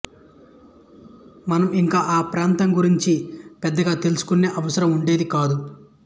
మనం ఇంక ఆ ప్రాంతం గురించి పెద్దగా తెలుసుకునే అవసరం ఉండేది కాదు